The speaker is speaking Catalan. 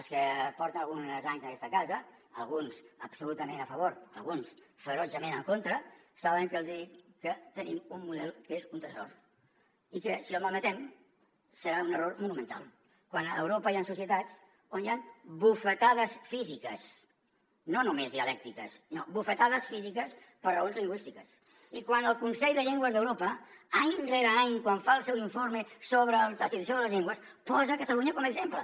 els que porten alguns anys en aquesta casa alguns absolutament a favor alguns ferotgement en contra saben que els hi dic que tenim un model que és un tresor i que si el malmetem serà un error monumental quan a europa hi han societats on hi han bufetades físiques no només dialèctiques no bufetades físiques per raons lingüístiques i quan el consell de llengües d’europa any rere any quan fa el seu informe sobre la situació de les llengües posa catalunya com a exemple